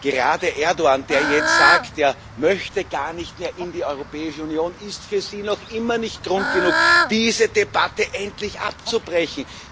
Gerade Erdoğan, der jetzt sagt, dass er gar nicht mehr in die Europäische Union möchte, ist für Sie immer noch nicht Grund genug, diese Debatte endlich abzubrechen.